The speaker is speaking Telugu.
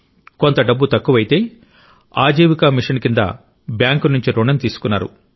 కొంత డబ్బు తక్కువైతే ఆజీవికా మిషన్ కింద బ్యాంకు నుండి రుణం తీసుకున్నారు